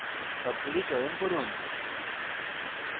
সবগুলি চয়ন করুন